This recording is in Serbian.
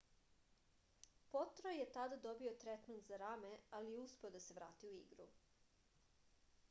potro je tada dobio tretman za rame ali je uspeo da se vrati u igru